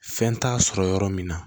Fɛn t'a sɔrɔ yɔrɔ min na